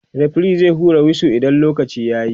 referee zai hura wisu idan lokaci yayi